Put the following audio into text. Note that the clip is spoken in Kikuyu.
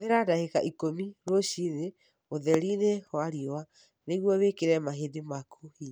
Hũthĩra ndagĩka ikũmi rũcinĩ ũtheri-inĩ wa riũa nĩguo wĩkĩre mahĩndĩ maku hinya.